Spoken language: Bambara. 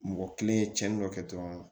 Mɔgɔ kelen ye tiɲɛni dɔ kɛ dɔrɔn